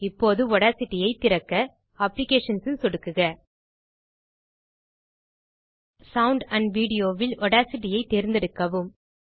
இப்போது ஆடாசிட்டி ஐத் திறக்க அப்ளிகேஷன்ஸ் ல் சொடுக்குக சவுண்டாம்ப்வீடியோ வில் ஆடாசிட்டி ஐ தேர்ந்தெடுக்கவும்